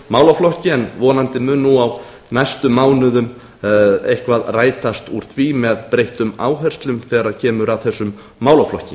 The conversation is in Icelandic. málaflokki en vonandi mun á næstu mánuðum eitthvað rætast úr því með breyttum áherslum þegar kemur að þessum málaflokki